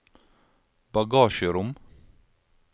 bagasjerom